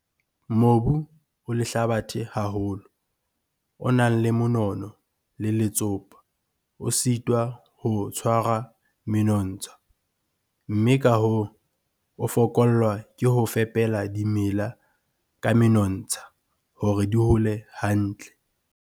Mobu o lehlabathe haholo, o nang le monono le letsopa, o sitwa ho tshwara menontsha, mme ka hoo, o fokollwa ke ho fepela dimela ka menontsha hore di hole hantle.